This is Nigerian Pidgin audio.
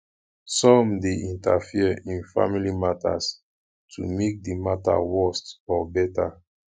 some de interfere in family matters to make di matter worst or better